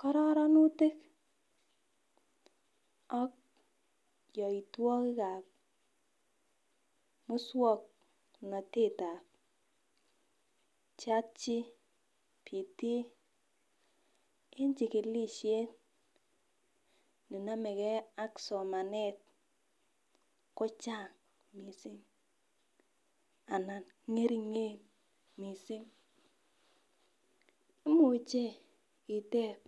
Kororonutik ak yoitwokik ap muswongnotet ap chatgbt en chikilishet me nomekee ak somanet ko chang mising ana ngeringen mising imuche itep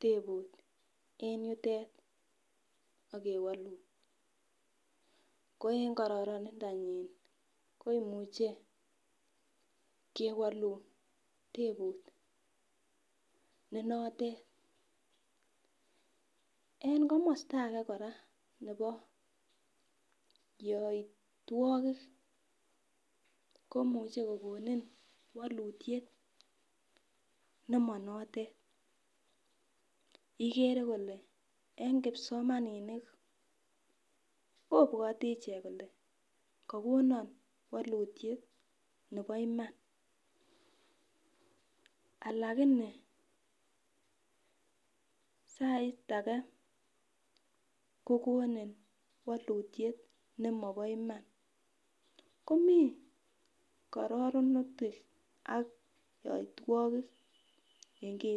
teput eng yutet akewolun ko en kororonindo nyin koimuche akewolun tebut nenotet en komosta ake kora nebo yoitwokik komuchei kokonin walutiet nemanotet igere kole eng kipsomaninik kobwote ichek kole kakonon walutiet nebo Iman alakini sait ake kokonin walutiet nemabo Iman komii kororonutik ak yoitwokik eng kii.